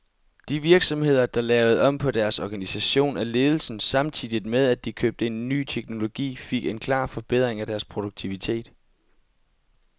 De virksomheder, der lavede om på deres organisation af ledelsen, samtidig med at de købte ny teknologi, fik en klar forbedring af deres produktivitet.